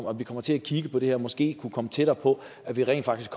at vi kommer til at kigge på det her måske kan komme tættere på rent faktisk